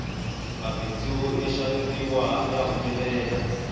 mabindzu yo xaveriwa ya humelela